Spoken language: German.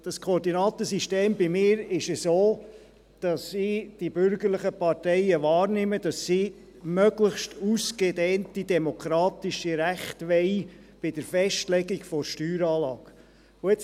Und bei mir ist dieses Koordinatensystem so, dass ich die bürgerlichen Parteien so wahrnehme, dass sie möglichst ausgedehnte demokratische Rechte bei der Festlegung der Steueranlage wollen.